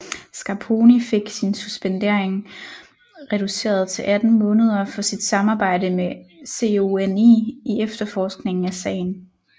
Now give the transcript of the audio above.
Scarponi fik sin suspendering reduceret til 18 måneder for sit samarbejde med CONI i efterforskningen af sagen